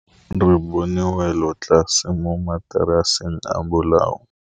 Re bone wêlôtlasê mo mataraseng a bolaô.